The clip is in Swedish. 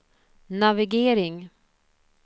navigering